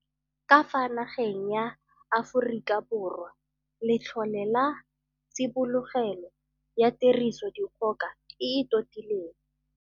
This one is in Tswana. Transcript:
Ka fa nageng ya Aforika Borwa Letlole la Tsibogelo ya Tiriso dikgoka e e Totileng